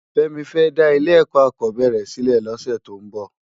Femi fè dá ile èkò ákòbèéré silè lòsè tó n bò